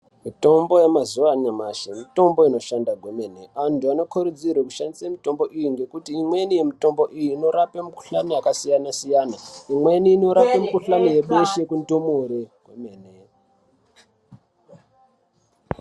Mitombo yemazuwa anyamashi mitombo inoshanda kwemene antu anokurudzirwe kushandise mutombo iyi ngekuti imweni yemutombo iyi inorape mukhuhlani yakasiyana siyana imweni inorape mikhuhlani yebeshe kundumure kwemene.